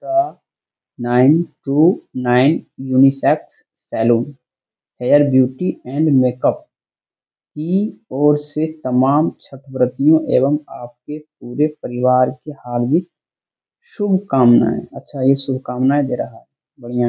यह nine to nine unisex salon hair beauty and makeup की और से तमाम छठव्रतियों एवं आपके पूरे परिवार को हार्दिक शुभकामनाएँ। अच्छा ये शुभकामनाएँ दे रहा है बढ़िया है।